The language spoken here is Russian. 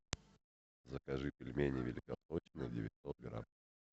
закажи пельмени великосочные девятьсот грамм